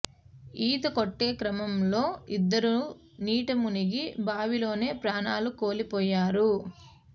ఈత కొట్టే క్రమంలో ఇద్దరూ నీట మునిగి బావిలోనే ప్రాణాలు కోల్పోయారు